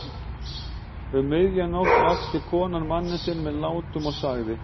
Um miðja nótt vakti konan mann sinn með látum og sagði